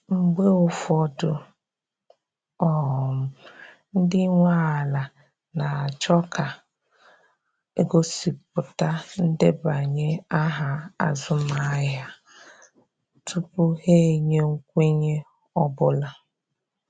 Mgbe ụfọdụ, um ndị nwe ala na achọ ka a gosipụta ndebanye aha azụmahịa tupu ha enye nkwenye ọ bụla